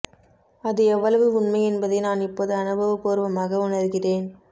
அது எவ்வளவு உண்மை என்பதை நான் இப்போது அனுபவப் பூர்வமாக உணர்கிறேன்